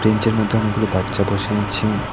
Bench -এর মধ্যে অনেকগুলো বাচ্চা বসে আছে।